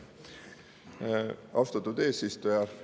Austatud eesistuja!